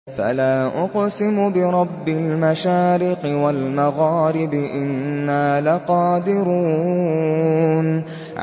فَلَا أُقْسِمُ بِرَبِّ الْمَشَارِقِ وَالْمَغَارِبِ إِنَّا لَقَادِرُونَ